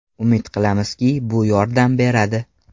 Umid qilamizki, bu yordam beradi.